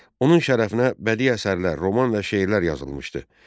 Onun şərəfinə bədi əsərlər, roman və şeirlər yazılmışdı.